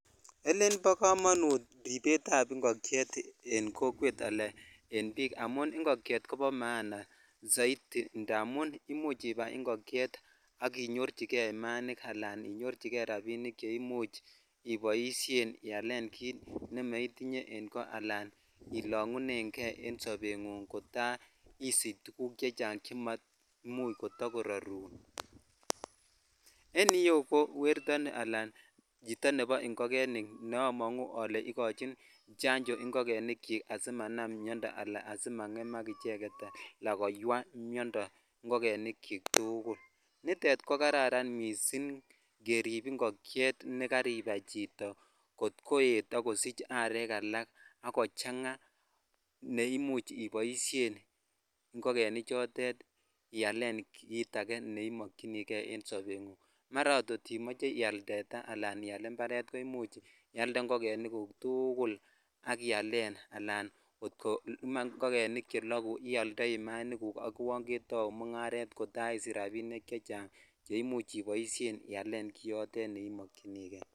Elen bo komonut ripet ab ingokyet en kokwet ala en bik amun ingokyet kobo maana indamun imuch ibai ingokyet ak inyorchikei imainik ala inyorchi kei imainik che imuch Iboishen ialen ne moitinye en ko aka ilongunen kei en sobengunng kota isich tuguk chechang che matakoimuch koorrun en iyeu ko werto ala nebo ingogenik ne amongu ole ikochin janjo ingogenik chik asimanam miondoo ala asimangemak icheket ala koywaa miondoo ingogenik chik tukul nitet ko kararan missing kerip ingokyet nekaribai chito sk koet akosich arekala ak kochang neimuch iboishen ingogenik choto ialen kit akee ne imokyinikei en sobengunng mara ot kot imoche ial tetaa ala iyaal imparet ko imuch ialde ingogenik guk tukul ak ialen alan kot ko ingogenik chekuu ko imuch ialde ak itau mungaret ak isich .rabinik chechang ne imuch ialen kit notet ne imokyinikei